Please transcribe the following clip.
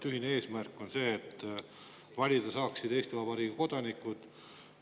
Ühine eesmärk on see, et valida saaksid Eesti Vabariigi kodanikud.